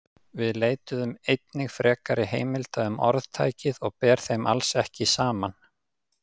Við leituðum einnig frekari heimilda um orðtækið og ber þeim alls ekki saman.